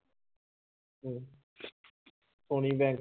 ਹੁਣੀ bank